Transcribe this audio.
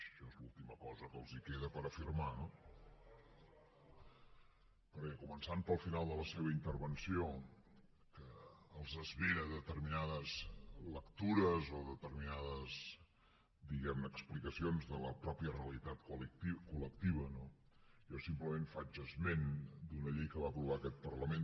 això és l’última cosa que els queda per afirmar no perquè començant pel final de la seva intervenció que els esveren determinades lectures o determinades diguem ne explicacions de la mateixa realitat col·lectiva no jo simplement faig esment d’una llei que va aprovar aquest parlament